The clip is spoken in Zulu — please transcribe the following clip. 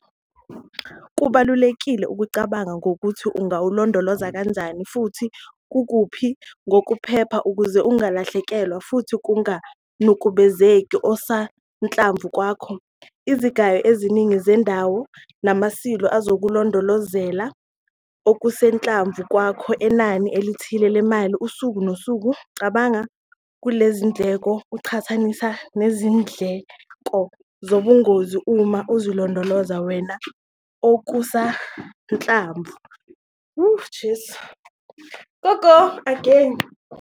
Kubalulekile ukucabanga ngokuthi ungawulondoloza kanjani futhi kukuphi ngokuphepha ukuze ungalahlekelwa futhi kunganukubezeki okusanhlamvu kwakho. Izigayo eziningi zendawo nama-silo azokulondolozela okusanhlamvu kwakho enani elithile lemali usuku nosuku. Cabanga ngalezindleko uziqhathanise nezindleko zobungozi uma uzilondolozela wena okusanhlamvu.